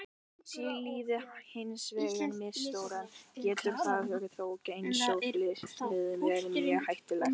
Sé lyfið hins vegar misnotað getur það þó, eins og flest lyf, verið mjög hættulegt.